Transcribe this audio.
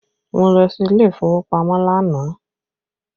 Mo lọ sí ilé ìfowópamọ́ lánàá